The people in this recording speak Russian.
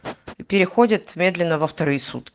переходит медленного вторые сутки